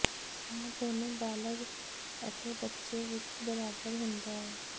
ਇਹ ਦੋਨੋ ਬਾਲਗ ਅਤੇ ਬੱਚੇ ਵਿਚ ਬਰਾਬਰ ਹੁੰਦਾ ਹੈ